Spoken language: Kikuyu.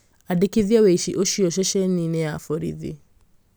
akĩandĩkĩthia wĩici ũcio ceceni-inĩ ya borithi